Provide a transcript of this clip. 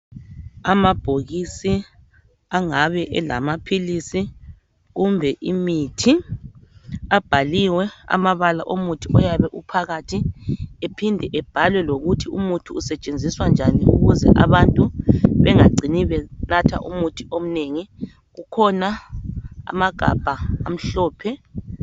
Amabhokisi angabe elamaphilisi kumbe imithi . Abhaliwe amabala omuthi oyabe uphakathi. Ephinde ebhalwe lokuthi umuthi usetshenziswa njani ukuze abantu bengacini benatha umuthi omnengi. Kukhona amagabha amhlophe.